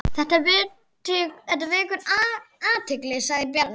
Þetta vekur athygli sagði Bjarni.